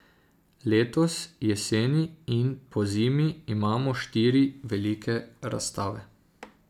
Letos jeseni in pozimi imamo štiri velike razstave.